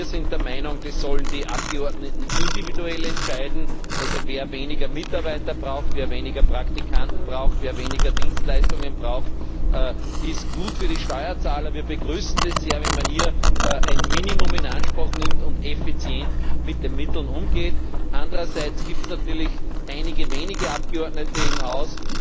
Wir sind der Meinung, die Abgeordneten sollen individuell entscheiden, wer weniger Mitarbeiter braucht, wer weniger Praktikanten braucht, wer weniger Dienstleistungen braucht. Das ist gut für die Steuerzahler. Wir begrüßen es sehr, wenn man hier ein Minimum in Anspruch nimmt und effizient mit den Mitteln umgeht. Andererseits gibt es natürlich einige wenige Abgeordnete im Haus,